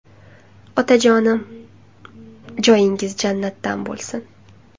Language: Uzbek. Otajonim, joyingiz jannatdan bo‘lsin.